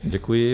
Děkuji.